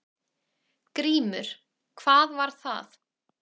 GRÍMUR: Hvað var það?